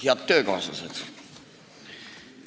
Head töökaaslased!